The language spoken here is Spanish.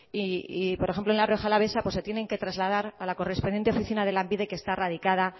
y por ejemplo en la rioja alavesa se tienen que trasladar a la correspondiente oficina de lanbide que está radica